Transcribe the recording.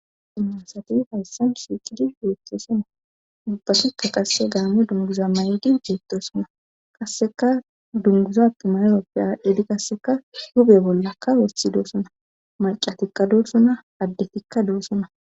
Dimmasati hayssan shiiqidi yoetttesona ubbatikka qasse gaame dunguza may'di geettosona kasseka dunguza timayoppe aadidi kasseka hube bollakka wossi doosona macatikka dolsona addefikka doosona.